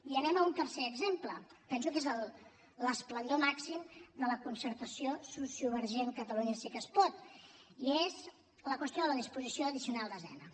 i anem a un tercer exemple penso que és l’esplendor màxima de la concertació sociovergent catalunya sí que es pot i és la qüestió de la disposició addicional desena